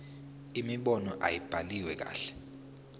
imibono ayibhaliwe kahle